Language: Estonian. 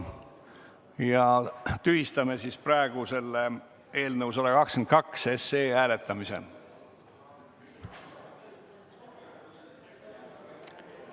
Ma tühistan praegu eelnõu 122 hääletamise.